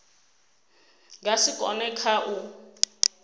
nga si kone kha u